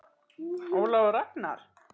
Ólafur Ragnar.